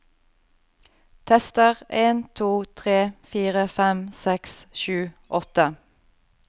Tester en to tre fire fem seks sju åtte